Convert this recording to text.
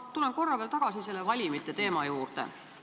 Ma tulen korra veel tagasi selle valimi teema juurde.